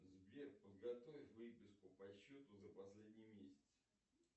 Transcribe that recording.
сбер подготовь выписку по счету за последний месяц